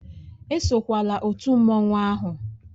Esokwala otu mmanwụ ahụ!